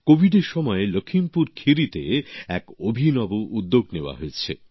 কোভিডের সময়ে লখিমপুর খেরিতে এক অভিনব উদ্যোগ নেওয়া হয়েছে